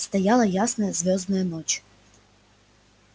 стояла ясная звёздная ночь